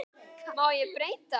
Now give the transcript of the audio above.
Má ég breyta?